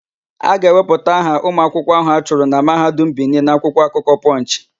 A ga-ewepụta aha ụmụakwụkwọ áhụ̀ a chụrụ na Mahadum Bini n'akwụkwọ akụkọ Pọnchị.